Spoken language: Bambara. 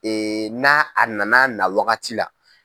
na a nan'a na wagati la.